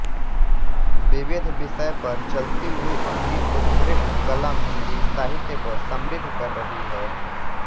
विविध विषय पर चलती हुई उनकी उत्कृष्ट कलम हिंदी साहित्य को समृद्ध कर रही है